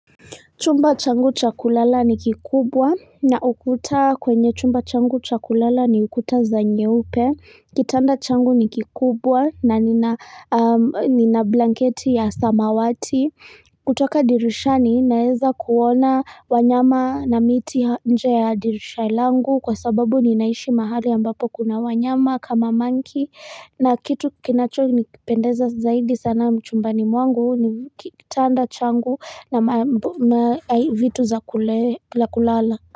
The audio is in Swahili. Chumba changu cha kulala ni kikubwa na ukuta kwenye chumba changu cha kulala ni ukuta za nyeupe. Kitanda changu ni kikubwa na nina blanketi ya samawati. Kutoka dirishani naeza kuona wanyama na miti nje ya dirisha langu kwa sababu ninaishi mahali ambapo kuna wanyama kama manki. Na kitu kinachonipendeza zaidi sana chumbani mwangu ni kitanda changu na vitu za kulala.